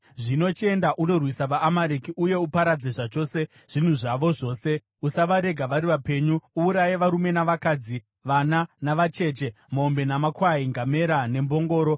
Zvino chienda undorwisa vaAmareki uye uparadze zvachose zvinhu zvavo zvose. Usavarega vari vapenyu uuraye varume navakadzi, vana navacheche, mombe namakwai, ngamera nembongoro.’ ”